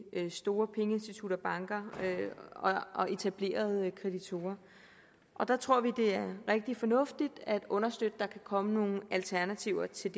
store pengeinstitutter banker og etablerede kreditbureauer der tror vi det er rigtig fornuftigt at understøtte at der kan komme nogle alternativer til